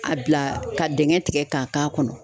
A bila ka dingɛ tigɛ k'a k'a kɔnɔ.